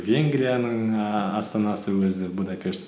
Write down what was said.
венгрияның ііі астанасы өзі будапешт